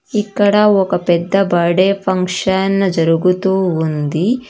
ఇక్కడ ఒక పెద్ద బడ్డే ఫంక్షన్ జరుగుతూ ఉంది.